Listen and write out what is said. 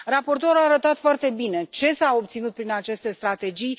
Raportorul a arătat foarte bine ce s a obținut prin aceste strategii.